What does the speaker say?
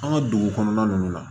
An ka dugu kɔnɔna ninnu na